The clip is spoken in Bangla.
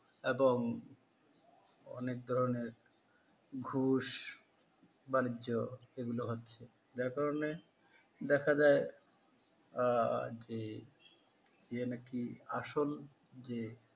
এবং অনেক ধরণের ঘুষ বাণিজ্য এগুলো হচ্ছে যার কারনে দেখা যায় আ যে যে নাকি আসল যে